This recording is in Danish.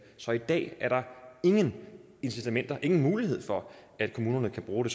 så i dag er der ingen incitamenter og ingen mulighed for at kommunerne kan bruge